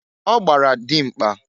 Ọ gbara dịmkpa